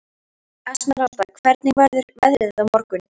Esmeralda, hvernig verður veðrið á morgun?